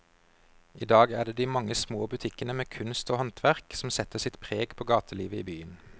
I dag er det de mange små butikkene med kunst og håndverk som setter sitt preg på gatelivet i byen.